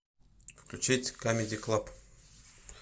включить камеди клаб